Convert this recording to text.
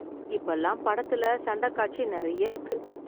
இப்ப எல்லாம் படத்துல சண்டக் காட்சி நெறைய இருக்கு